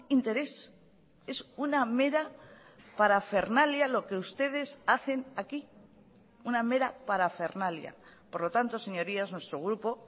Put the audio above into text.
interés es una mera parafernalia lo que ustedes hacen aquí una mera parafernalia por lo tanto señorías nuestro grupo